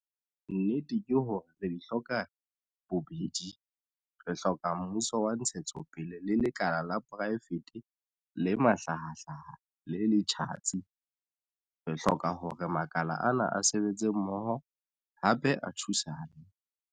Nnete ke hore re di hloka bobedi. Re hloka mmuso wa ntshetsopele le lekala la poraefete le mahlahahlaha le le tjhatsi. Re hloka hore makala ana a sebetse mmoho, hape a thusane.